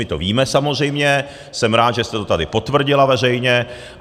My to víme, samozřejmě, jsem rád, že jste to tady potvrdila veřejně.